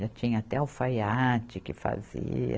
Já tinha até alfaiate que fazia.